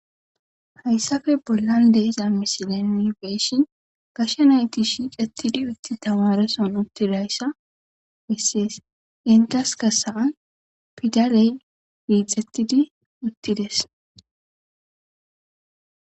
Hayssape bollandiza misileni beeyishin gashe nayti shiqettidi utti tamareson uttidayssa bessees intaska saa'an pidaley miixettidi uttides.